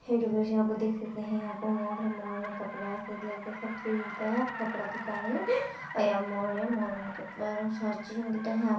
hello guys यहां पर देख सकते हैं यहां पर मॉल है मॉल में कपड़ा से लेकर सब चीज मिलता है कपड़ा की दुकान है ये और मॉल है मॉल में कपड़ा हर चीज मिलता है आप --